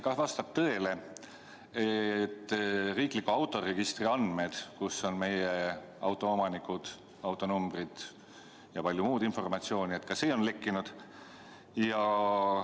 Kas vastab tõele, et riikliku autoregistri andmed, kus on kirjas autoomanikud, autonumbrid ja palju muud informatsiooni, on lekkinud?